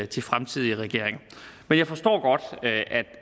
til fremtidige regeringer men jeg forstår godt